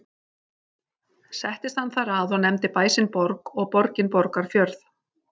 Settist hann þar að og nefndi bæ sinn Borg og fjörðinn Borgarfjörð.